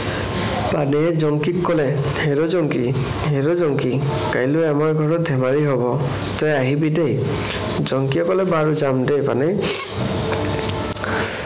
পানেইয়ে জংকিক কলে হেৰৈ জংকি, হেৰৈ জংকি কাইলৈ আমাৰ ঘৰত ধেমালি হৱ তই আহিবি দেই। জংকিয়ে কলে, বাৰু যাম দেই পানেই।